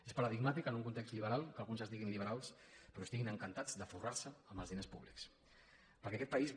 és paradigmàtic que en un context liberal que alguns es diguin liberals però estiguin encantats de forrar se amb els diners públics perquè aquest país